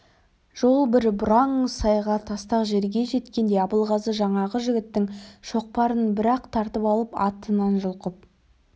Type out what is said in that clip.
жол бір бұраң сайға тастақ жерге жеткенде абылғазы жаңағы жігіттің шоқпарын бірақ тартып алып атынан жұлқып